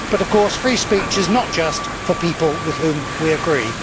But of course free speech is not just for people with whom we agree.